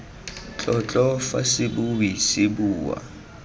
tlotlo fa sebui se bua